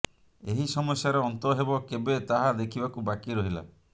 ଏହି ସମସ୍ୟାର ଅନ୍ତ ହେବ କେବେ ତାହା ଦେଖିବାକୁ ବାକି ରହିଲା